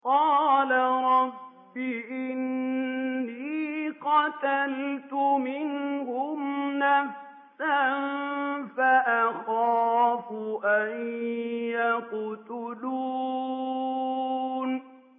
قَالَ رَبِّ إِنِّي قَتَلْتُ مِنْهُمْ نَفْسًا فَأَخَافُ أَن يَقْتُلُونِ